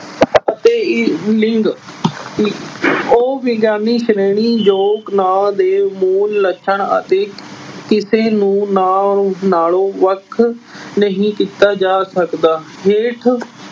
ਅਹ ਅਤੇ ਲਿੰਗ ਅਹ ਉਹ ਵਿਗਿਆਨੀ ਸ਼੍ਰੇਣੀ ਜੋ ਨਾਂਵ ਦੇ ਮੂਲ ਲੱਛਣ ਅਤੇ ਕਿਸੇ ਨੂੰ ਨਾਂਵ ਨਾਲੋਂ ਵੱਖ ਨਹੀਂ ਕੀਤਾ ਜਾ ਸਕਦਾ। ਹੇਠ